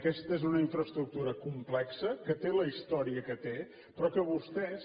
aquesta és una infraestructura complexa que té la història que té però que vostès